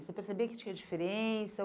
Você percebia que tinha diferença?